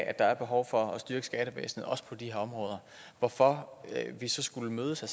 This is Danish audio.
at der er behov for at styrke skattevæsenet også på de her områder hvorfor vi så skulle mødes og